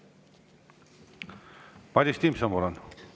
Madis Timpson, palun!